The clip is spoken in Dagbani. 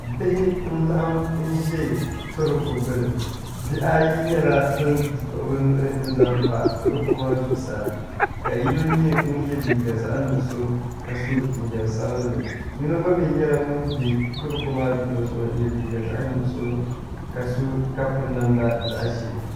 bihi n-laɣim n-za torooko gbuni bihi ayi ban kpuɣi bɛ nuhi n-zaŋ torooko maa zuɣusaa ka yino nye ŋun ye liiga zaɣ'ńuɣuso ka so jinjam sabinli yino gba mi ny; la ŋun be torooko maa luɣuli zuɣu n-ye liiga zaɣ'ńuɣuso ka so ka piri namda zaɣ'ʒee